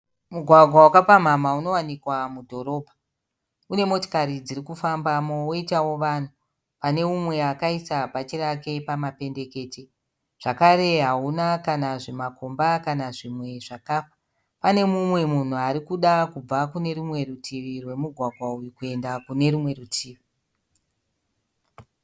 Mugwagwa wakapamhama unowanikwa mudhorobha. Une motokari dziri kufambamo woitavo vanhu. Pane umwe akaisa bhachi rake pamapendekete. Zvakare hauna kana zvimakomba kana zvimwe zvakafa. Pane mumwe munhu ari kuda kubva kune rumwe rutivi rwomugwagwa uyu kuenda kune rumwe rutivi.